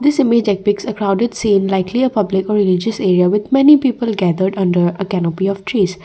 crowd it seenlikely a public area with many people gathered under trees.